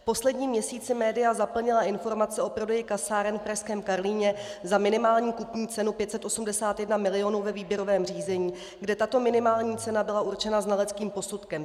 V posledním měsíci média zaplnila informace o prodeji kasáren v pražském Karlíně za minimální kupní cenu 581 milionů ve výběrovém řízení, kde tato minimální cena byla určena znaleckým posudkem.